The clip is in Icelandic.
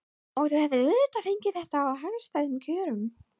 Og þú hefur auðvitað fengið þetta á hagstæðum kjörum?